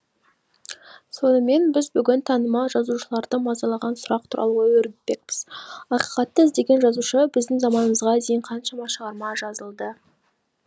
сонымен біз бүгін танымал жазушыларды мазалаған сұрақ туралы ой өрбітпекпіз ақиқатты іздеген жазушы біздің заманымызға дейін қаншама шығарма жазылды